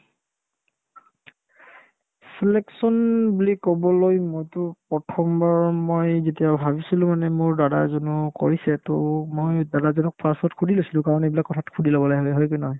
selection বুলি ক'বলৈ মইতো প্ৰথমবাৰ মই যেতিয়া ভাবিছিলো মানে মোৰ দাদা এজনেও কৰিছে to মই দাদাজনক first তত সুধি লৈছিলো কাৰণ এইবিলাক কথাত সুধি ল'ব লাগে হয় কি নহয় ?